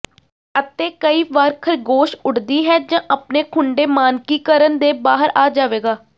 ਅਤੇ ਕਈ ਵਾਰ ਖਰਗੋਸ਼ ਉੱਡਦੀ ਹੈ ਜ ਆਪਣੇ ਖੁੱਡੇ ਮਾਨਕੀਕਰਣ ਦੇ ਬਾਹਰ ਆ ਜਾਵੇਗਾ